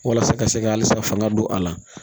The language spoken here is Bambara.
Walasa ka se ka halisa fanga don a la